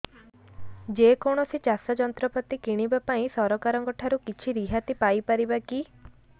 ଯେ କୌଣସି ଚାଷ ଯନ୍ତ୍ରପାତି କିଣିବା ପାଇଁ ସରକାରଙ୍କ ଠାରୁ କିଛି ରିହାତି ପାଇ ପାରିବା କି